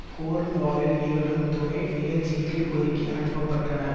கோர்ன்வாலில் நிகழும் துணை நிகழ்ச்சிக்கு ஒதுக்கி அனுப்ப பட்டனர்